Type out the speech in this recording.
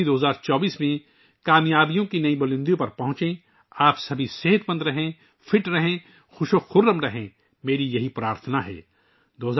آپ سب 2024 میں کامیابی کی نئی بلندیوں تک پہنچیں، آپ سب صحت مند رہیں، تندرست رہیں، بے حد خوش رہیں یہ میری دعا ہے